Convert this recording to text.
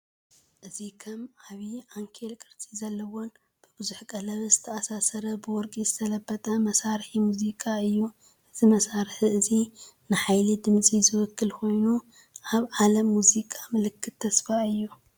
እዚ ከም ዓቢ ዓንኬል ቅርጺ ዘለዎን ብብዙሕ ቀለቤት ዝተኣሳሰረን ብወርቂ ዝተለበጠ መሳርሒ ሙዚቃ እዩ። እዚ መሳርሒ እዚ ንሓይሊ ድምጺ ዝውክል ኮይኑ ኣብ ዓለም ሙዚቃ ምልክት ተስፋ እዩ።